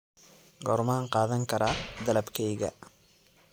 goormaan qaadan karaa dalabkayga